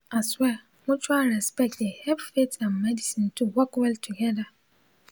i swear mutual respect dey hep faith and medicine to work well togeda